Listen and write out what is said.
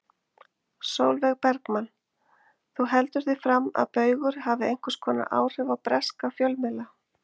Sólveig Bergmann: Þú heldur því fram að Baugur hafi einhvers konar áhrif á breska fjölmiðla?